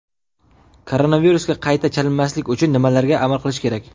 Koronavirusga qayta chalinmaslik uchun nimalarga amal qilish kerak?.